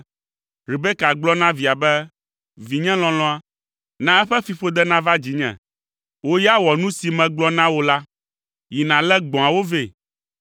Rebeka gblɔ na via be, “Vinye lɔlɔ̃a, na eƒe fiƒode nava dzinye. Wò ya wɔ nu si megblɔ na wò la. Yi nàlé gbɔ̃awo vɛ.”